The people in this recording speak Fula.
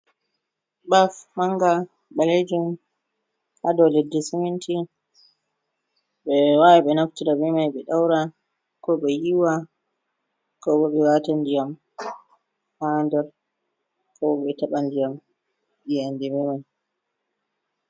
Baf manga balejum ha dou leddi siminti. Ɓe wawan ɓe naftira be mai ɓe ɗaura, ko ɓe yiwa, kobo ɓe wata ndiyam ha nder, ko bo ɓe taɓa ndiyam yende be mai.